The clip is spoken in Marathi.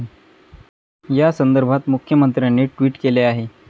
य़ा संदर्भात मुख्यमंत्र्यांनी ट्विट केले आहे.